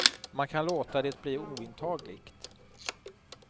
Man kan låta det bli ointagligt.